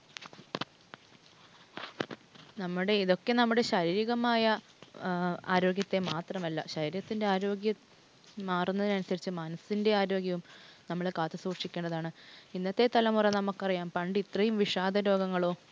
നമ്മുടെ ഇതൊക്കെ നമ്മുടെ ശാരീരികമായ ആരോഗ്യത്തെ മാത്രമല്ല, ശരീരത്തിൻ്റെ ആരോഗ്യം മാറുന്നതിനനുസരിച്ച് മനസിൻ്റെ ആരോഗ്യവും നമ്മൾ കാത്തു സൂക്ഷിക്കേണ്ടതാണ്. ഇന്നത്തെ തലമുറ നമുക്കറിയാം, പണ്ട് ഇത്രേം വിഷാദ രോഗങ്ങളോ